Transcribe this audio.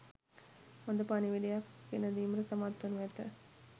හොඳ පණිවුඩයක් ගෙනදීමට සමත්වනු ඇත.